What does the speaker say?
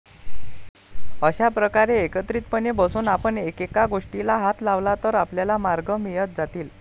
अशा प्रकारे एकत्रितपणे बसून आपण एकेका गोष्टीला हात लावला तर आपल्याला मार्ग मिळत जातील.